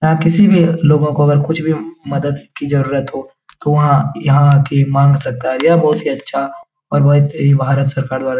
यहाँ किसी भी लोगो को अगर कुछ भी मदद की जरुरत हो तो वहाँ यहाँ आके माँग सकता है यह बहुत ही अच्छा और बहुत ही भारत सरकार द्वारा --